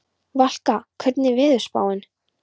Valka, hvernig er veðurspáin?